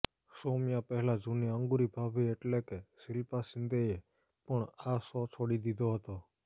સૌમ્યા પહેલા જૂની અંગૂરી ભાભી એટલે કે શિલ્પા શિંદેએ પણ આ શો છોડી દીધો હતો